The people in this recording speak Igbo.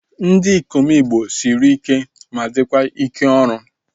Ndị ikom igbo sịrị ike ma dịkwa ike ọrụ